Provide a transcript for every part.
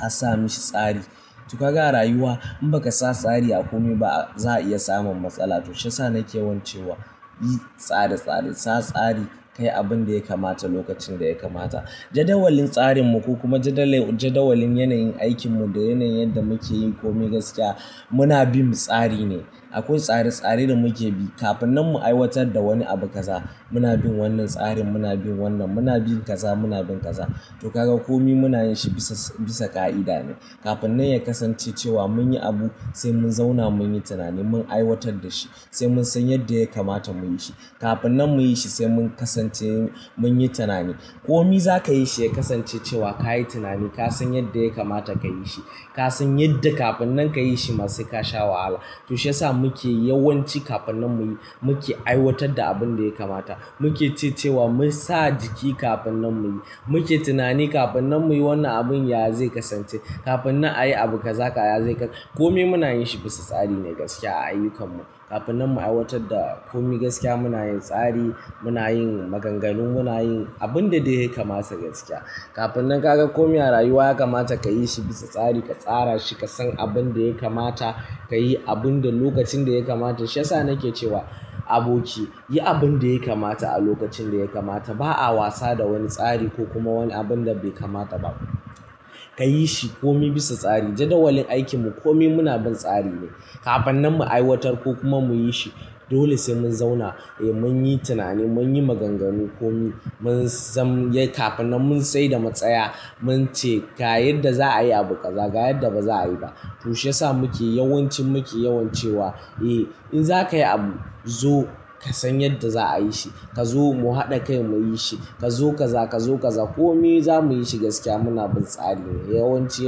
Ka sa mishi tsari. To kaga a rayuwa in baka sa tsari a komi ba za a iya samun matsala. To shi yasa nake yawan cewa yi tsare-tsare. Sa tsari. Kayi abun da ya kamata lokacin da ya kamata. Jadawalin tsarinmu ko kuma jadawalin yanayin aikinmu da yanayin yadda muke yin komai gaskiya muna bin tsari ne. Akwai tsare-tsare da muke bi. Kafinnan mu aiwatar da wani abu kaza muna bin wannan tsarin muna bin wannan. Muna bin kaza muna bin kaza. To kaga komi muna yin shi bisa bisa ƙa'ida ne. Kafinnan ya kasance cewa mun yi abu sai mun zauna mun yi tunani mun aiwatar da shi. Sai mun san yadda ya kamata mu yi shi. Kafinnan mu yi shi sai mun kasance mun yi tunani. Komi za ka yi shi ya kasance cewa ka yi tunanin. Ka san yadda ya kamata ka yi shi. Ka san yadda kafinnan ka yi shi ma sai ka sha wahala. To shiyasa muke yawanci kafinnan mu yi muke aiwatar da abun da ya kamata. Muke ce cewa mu sa jiki kafinnan mu yi. Muke tunani kafinnan mu yi wannan abun yaya zai kasance. Kafinnan a yi abu kaza kaya zai ka. Komi muna yin shi bisa tsari ne gaskiya a ayyukarmu. Kafinnan mu aiwatar da komi gaskiya muna yin tsari muna yin maganganu muna yin abin da dai ya kamata gaskiya. Kafinnan kaga komi a rayuwa ya kamata ka yi shi bisa tsari. Ka tsara shi. Ka san abun da ya kamata. Ka yi abun da lokacin da ya kamata. Shiyasa nake cewa aboki yi abin da ya kamata a lokacin da ya kamata. Ba a wasa da wani tsari ko kuma wani abun da bai kamata ba. Ka yi shi komi bisa tsari. Jadawalin aikinmu komi muna bin tsari ne. Kafinnan mu aiwatar ko kuma mu yi shi dole sai mun zauna eh mun yi tunani mun yi maganganu komi mun san yi kafinnan mun tsai da matsaya mun ce ga yadda za a yi abu kaza ga yadda ba za a yi ba. To shiyasa muke yawancin muke yawan cewa eh in za ka yi abu zo ka san yadda za a yi shi. Ka zo mu haɗa kai mu yi shi. Ka zo kaza ka zo kaza. Komi za mu yi shi gaskiya muna bin tsari ne. Yawanci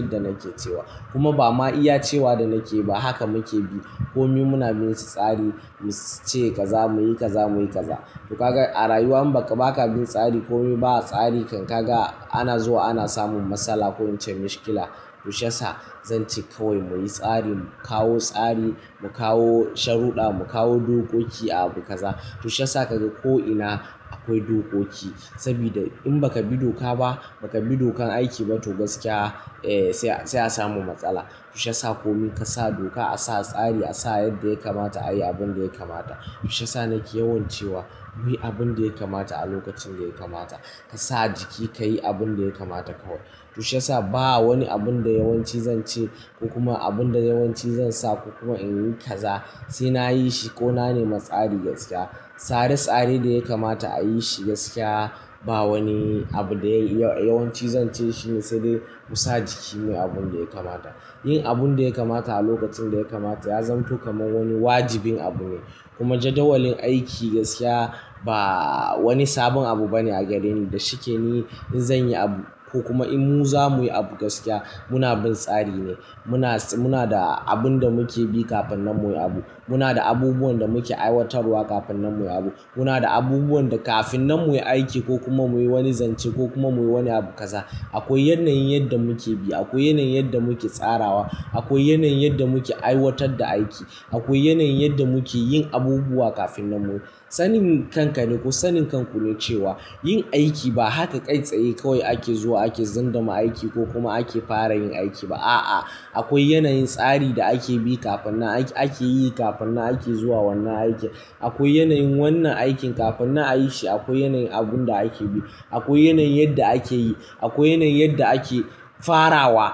yadda nake cewa kuma ba ma iya cewa da nake ba haka muke bi. Komi muna bin shi tsari mu ce kaza mu yi kaza mu yi kaza. To kaga a rayuwa in baka bin tsari komi ba tsari kan kaga ana zuwa ana samun matsala ko ince mishkila. To shiyasa zan ce kawai muyi tsari mu kawo tsari mu kawo sharuɗa mu kawo dokoki a abu kaza. To shiyasa kaga ko'ina akwai dokoki. Sabida in baka bi doka ba baka bi dokan aiki ba to gaskiya eh sai a samu matsala. To shiyasa komi ka sa doka a sa tsari a sa yadda ya kamata a yi abun da ya kamata. To shiyasa nake yawan cewa muyi abun da ya kamata a lokacin da ya kamata. Ka sa jiki ka yi abin da ya kamata kawai. To shiyasa ba wani abun da yawanci zan ce ko kuma abun da yawanci zan sa ko kuma in yi kaza sai na yi shi ko na nema tsari gaskiya. Tsare-tsare da ya kamata a yi shi gaskiya ba wani abu da yawanci zan ce shi ne sai dai mu sa jiki muyi abun da ya kamata. Yin abun da ya kamata a lokacin da ya kamata ya zanto kaman wani wajibin abu ne. Kuma jadawalin aiki gaskiya ba wani sabon abu bane a gareni. Da shike ni in zan yi abu ko kuma in mu za mu yi abu gaskiya muna bin tsari ne. Muna muna da abun da muke bi kafinnan muyi abu. Muna da abubuwan da muke aiwatarwa kafinnan muyi abu. Muna da abubuwan da kafinnan muyi aiki ko kuma muyi wani zance ko kuma muyi wani abu kaza akwai yanayin yadda muke bi. Akwai yanayin yadda muke tsarawa. Akwai yanayin yadda muke aiwatar da aiki. Akwai yanayin yadda muke yin abubuwa kafinnan muyi. Sanin kanka ne ko sanin kanku ne cewa yin aiki ba haka kai tsaye kawai ake zuwa ake zunduma aiki ko kuma ake fara yin aiki ba. A'a akwai yanayin tsari da ake bi kafinnan ake yi kafinnan ake zuwa wannan aikin. Akwai yanayin wannan aikin kafinnan a yi shi akwai yanayin abun da ake bi. Akwai yanayin yadda ake yi. Akwai yanayin yadda ake farawa.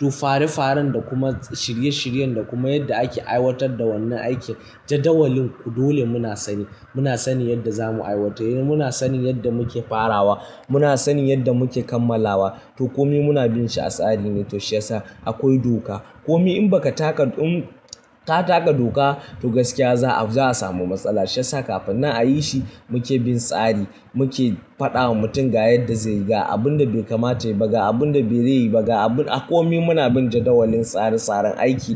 To fare faren da kuma shirye shiryen da kuma yadda ake aiwatar da wannan aikin jadawalin ku dole muna sani. Muna sani yadda za mu aiwatar. Muna sani yadda muke farawa. Muna sani yadda muke kammalawa. To komi muna bin shi a tsari ne. To shiyasa akwai doka. Komi in baka taka in ka taka doka to gaskiya za a, za a samu matsala. Shiyasa kafinnan a yi shi muke bin tsari. Muke faɗa wa mutum ga yadda zai yi ga abun da bai kamata yayi ba ga abun da zai yi ba ga abun a komi muna bin jadawalin tsare tsaren aiki.